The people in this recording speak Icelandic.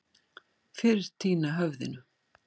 Fyrr týna höfðinu.